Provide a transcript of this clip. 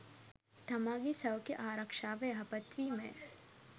තමාගේ සෞඛ්‍ය ආරක්ෂාව යහපත් වීමය.